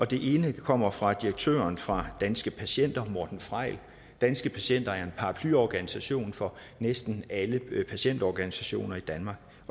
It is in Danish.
det ene kommer fra direktøren for danske patienter morten freil danske patienter er en paraplyorganisation for næsten alle patientorganisationer i danmark